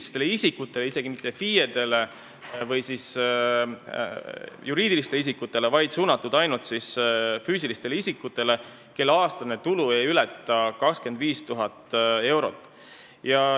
See ei ole suunatud isegi mitte FIE-dele või juriidilistele isikutele, vaid ainult füüsilistele isikutele, kelle aastane tulu ei ületa 25 000 eurot.